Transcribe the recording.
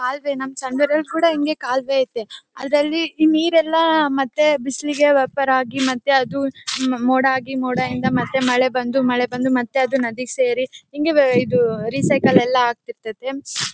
ಕಾಲುವೆ ನಮ್ಮ ಸಂಘದಲ್ಲಿ ಕೂಡ ಹಿಂಗೇ ಕಾಲುವೆ ಐತೆ ಆದರೆ ಅಲ್ಲಿ ನೀರೆಲ್ಲ ಮತ್ತೆ ಬಿಸಿಲಿಗೆ ವೇಪರ್ ಆಗಿ ಮತ್ತೆ ಅದು ಮೋಡ ಆಗಿ ಮತ್ತೆ ಮೋಡದಿಂದ ಮಳೆ ಬಂದು ಮಳೆ ಬಂದು ಮತ್ತೆ ಅದು ನದಿಗೆ ಸೇರಿ ಹಿಂಗೇ ವೇ ಇದು ರಿಸೈಕಲ್ ಆಗ್ತಿರ್ತದೆ .